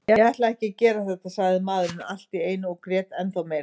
Ég ætlaði ekki að gera þetta, sagði maðurinn allt í einu og grét ennþá meira.